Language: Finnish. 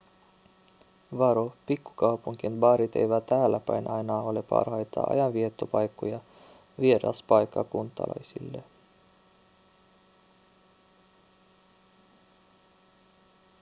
varo pikkukaupunkien baarit eivät täälläpäin aina ole parhaita ajanviettopaikkoja vieraspaikkakuntalaisille